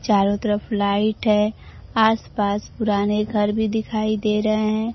चारों तरफ लाइट है आस पास पुराने घर भी दिखाई दे रहे हैं।